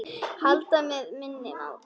Halda með minni máttar.